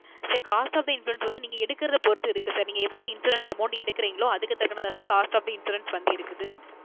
SirCost Of the Insurance வந்து நீங்க எடுக்குறத பொறுத்து இருக்கு Sir நீங்க எவ்வளவு Insurance amount எடுக்குறிங்களோ அதுக்கு தக்குன தான் Sir Cost of the insurance வந்து இருக்குது